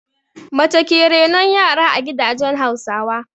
Mace ke renon yara a gidajen Hausawa.